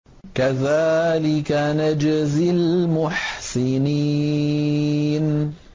كَذَٰلِكَ نَجْزِي الْمُحْسِنِينَ